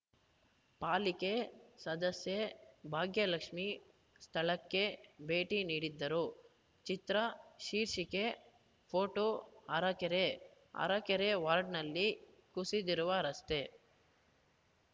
ಪಾಲಿಕೆ ಸದಸ್ಯೆ ಭಾಗ್ಯಲಕ್ಷ್ಮೇ ಸ್ಥಳಕ್ಕೆ ಭೇಟಿ ನೀಡಿದ್ದರು ಚಿತ್ರ ಶೀರ್ಷಿಕೆ ಫೋಟೋಅರಕೆರೆ ಅರಕೆರೆ ವಾರ್ಡ್‌ನಲ್ಲಿ ಕುಸಿದಿರುವ ರಸ್ತೆ